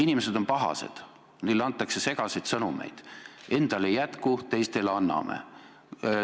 Inimesed on pahased, sest neile antakse segaseid sõnumeid – endale ei jätku, aga teistele anname.